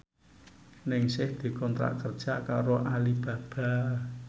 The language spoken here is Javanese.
Ningsih dikontrak kerja karo Alibaba